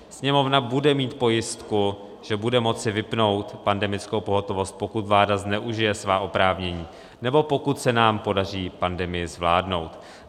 Sněmovna bude mít pojistku, že bude moci vypnout pandemickou pohotovost, pokud vláda zneužije svá oprávnění nebo pokud se nám podaří pandemii zvládnout.